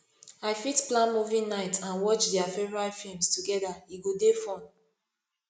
i fit plan movie night and watch dia favorite films together e go dey fun